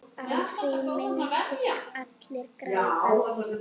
Á því myndu allir græða.